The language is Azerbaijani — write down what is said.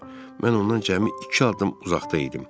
Mən ondan cəmi iki addım uzaqda idim.